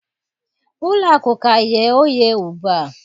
Ụlọ akụ ka nghe oghe ugbu a